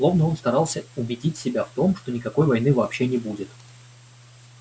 словно он старался убедить себя в том что никакой войны вообще не будет